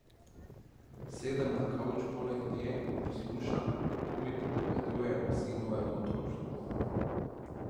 Sedem na kavč poleg nje in poslušam, kako mi pripoveduje o sinovem otroštvu.